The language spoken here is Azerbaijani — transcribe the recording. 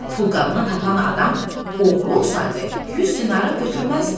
Pulqabını tapan adam oğru olsaydı, 100 dinarı götürməzdi.